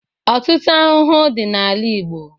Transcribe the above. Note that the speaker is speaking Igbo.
Ọtụtụ ahụhụ dị n'ala Igbo.